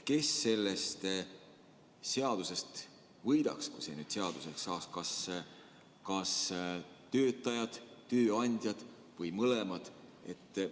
Kes sellest seadusest võidaks, kui see eelnõu seaduseks saaks, kas töötajad, tööandjad või mõlemad?